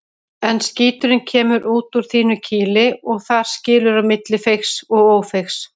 En skíturinn kemur út úr þínu kýli og þar skilur á milli feigs og ófeigs.